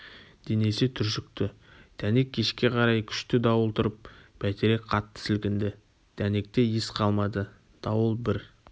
денесі түршікті дәнек кешке қарай күшті дауыл тұрып бәйтерек қатты сілкінді дәнекте ес қалмады дауыл бір